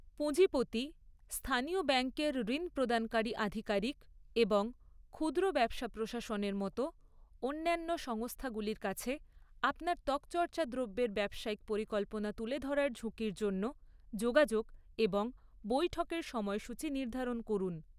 পুঁজিপতি, স্থানীয় ব্যাঙ্কের ঋণ প্রদানকারী আধিকারিক এবং ক্ষুদ্র ব্যবসা প্রশাসনের মতো অন্যান্য সংস্থাগুলির কাছে আপনার ত্বকচর্চা দ্রব্যের ব্যবসায়িক পরিকল্পনা তুলে ধরার ঝুঁকির জন্য যোগাযোগ এবং বৈঠকের সময়সূচী নির্ধারণ করুন।